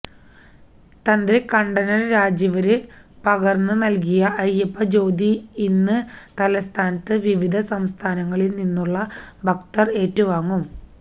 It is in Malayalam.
തന്ത്രി കണ്ഠരര് രാജീവര് പകര്ന്ന് നല്കിയ അയ്യപ്പ ജ്യോതി ഇന്ന് തലസ്ഥാനത്ത് വിവിധ സംസ്ഥാനങ്ങളില് നിന്നുള്ള ഭക്തര് ഏറ്റുവാങ്ങും